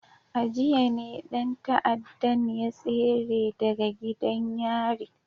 A jiya ne dan ta'addan ya tsere daga gidan yari